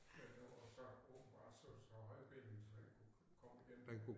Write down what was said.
Men han var så åbenbart så så højbenet så han kunne komme igennem